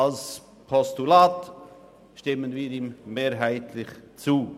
Als Postulat stimmen wir ihm mehrheitlich zu.